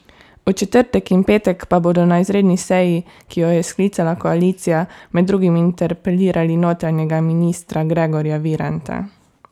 V četrtek in petek pa bodo na izredni seji, ki jo je sklicala koalicija, med drugim interpelirali notranjega ministra Gregorja Viranta.